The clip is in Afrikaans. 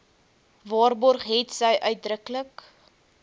waarborg hetsy uitdruklik